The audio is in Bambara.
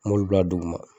N b'olu bila duguma